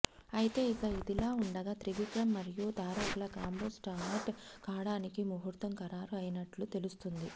అయితే ఇక ఇదిలా ఉండగా త్రివిక్రమ్ మరియు తారక్ ల కాంబో స్టార్ట్ కాడానికి ముహూర్తం ఖరారు అయ్యినట్టు తెలుస్తుంది